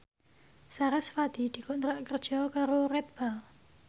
sarasvati dikontrak kerja karo Red Bull